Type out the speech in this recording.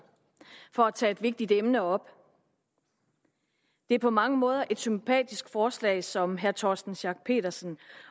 for at tage et vigtigt emne op det er på mange måder et sympatisk forslag som herre torsten schack pedersen